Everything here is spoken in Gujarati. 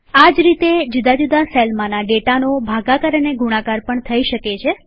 આ જ રીતેજુદા જુદા સેલમાંના ડેટાનો ભાગાકાર અને ગુણાકાર પણ થઇ શકે છે